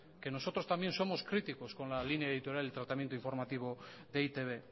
que nosotros también somos críticos con la línea editorial del tratamiento informativo de e i te be